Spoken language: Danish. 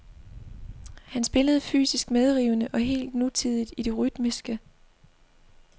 Han spillede fysisk medrivende og helt nutidigt i det rytmiske.